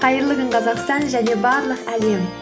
қайырлы күн қазақстан және барлық әлем